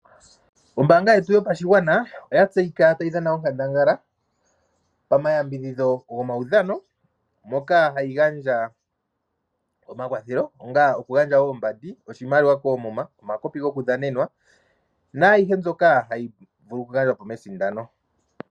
Ombanga yetu yopashingwana oyatseyika tayidhana onkandangala pama yambidhidho ngomawudhano moka hayingandja omakwathelo onga okugandja oombandi, oshimaliwa komuma, omakopi ngokudhanenwa nayihe mbyoka hayivulu okungandjwa mesindano.